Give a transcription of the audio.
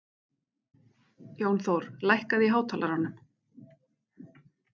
Jónþór, lækkaðu í hátalaranum.